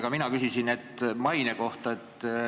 Ka mina küsisin maine kohta.